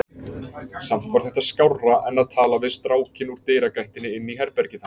Samt var þetta skárra en að tala við strákinn úr dyragættinni inn í herbergið hans.